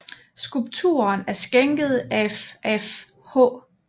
Skulpturen er skænket af af H